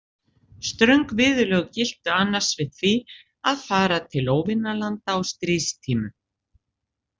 Ströng viðurlög giltu annars við því að fara til óvinalanda á stríðstímum.